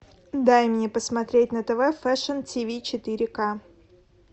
дай мне посмотреть на тв фэшн ти ви четыре ка